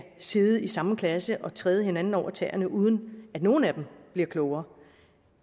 sidde i samme klasse og træde hinanden over tæerne uden at nogen af dem bliver klogere